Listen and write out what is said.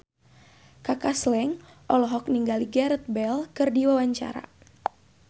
Kaka Slank olohok ningali Gareth Bale keur diwawancara